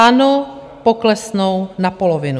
Ano, poklesnou na polovinu.